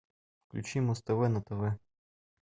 включи муз тв на тв